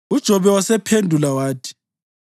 UJobe wasephendula wathi: